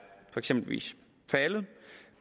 for eksempel faldet